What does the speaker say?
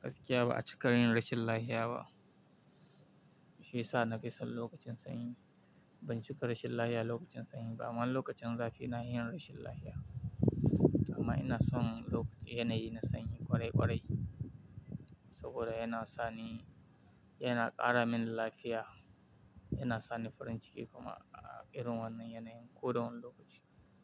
gaskiya ba a cika yin rashin lafiya ba. Shi ya sa na fi son lokacin sanyi. Ban cika rashin lafiya lokacin sanyi ba amma lokacin zafi ina yin rashin lafiya. Amma ina son yanayi na sanyi ƙwarai ƙwarai saboda yana sani, yana ƙara mini lafiya, yana sani farin jiki kuma irin wannan yanayin ko da wane lokaci.